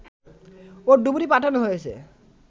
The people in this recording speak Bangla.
ও ডুবুরি পাঠানো হয়েছে